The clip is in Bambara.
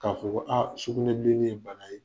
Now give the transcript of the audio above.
K'a fɔ ko aa sukunɛbilennin ye bana ye